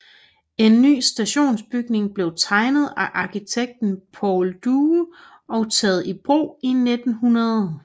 En ny stationsbygning blev tegnet af arkitekten Paul Due og taget i brug i 1900